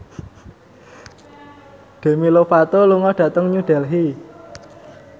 Demi Lovato lunga dhateng New Delhi